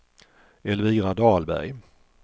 Elvira Dahlberg